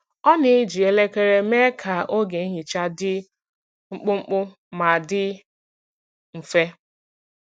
Ọ na-eji elekere mee ka oge nhicha dị mkpụmkpụ ma dị mfe.